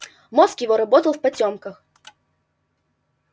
мозг его работал в потёмках